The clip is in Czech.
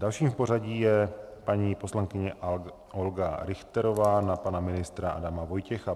Dalším v pořadí je paní poslankyně Olga Richterová na pana ministra Adama Vojtěcha.